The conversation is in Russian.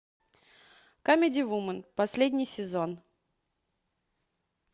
камеди вуман последний сезон